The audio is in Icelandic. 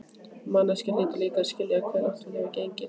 Manneskjan hlýtur líka að skilja hve langt hún hefur gengið.